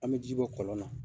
An bɛ ji bɔ kɔlɔn na